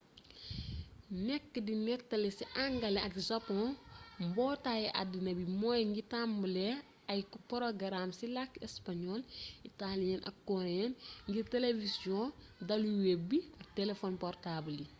nekk di nettali ci angale ak sapoŋ mbootaay addina bi moo ngi tambale ay porogaraam ci làkki español itaaliyee ak koreyee ngir telewisiyoŋ daluweb bi ak telefon portaabal yi